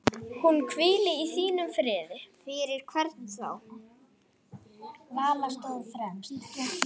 Hún hvíli í þínum friði.